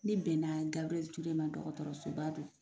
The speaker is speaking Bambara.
Ne bɛna Gabriel Ture ma, dɔgɔtɔrɔsoba don.